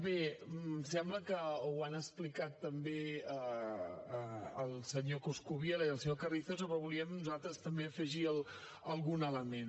bé sembla que ho han explicat també el senyor coscubiela i el senyor carrizosa però volíem nosaltres també afegir hi algun element